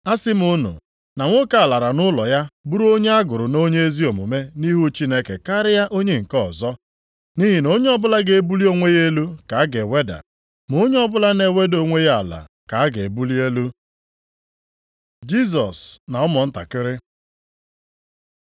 “Asị m unu, na nwoke a lara nʼụlọ ya bụrụ onye a gụrụ nʼonye ezi omume nʼihu Chineke karịa onye nke ọzọ. Nʼihi na onye ọbụla ga-ebuli onwe ya elu ka a ga-eweda, ma onye ọbụla na-eweda onwe ya ala ka a ga-ebuli elu.” Jisọs na ụmụntakịrị